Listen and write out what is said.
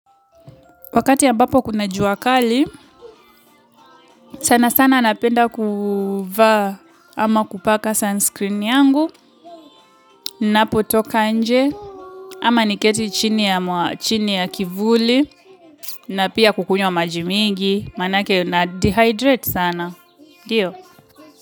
Wakati ambapo kuna jua kali, sana sana napenda kuvaa ama kupaka sunscreen yangu, ninapotoka nje, ama niketi chini ya kivuli, na pia kukunywa maji mingi, maanake nadehydrate sana. Ndio.